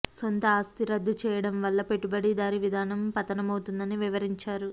సొంత ఆస్తి రద్దు చేయడం వల్ల పెట్టుబడిదారీ విధానం పతనమవుతుందని వివరించారు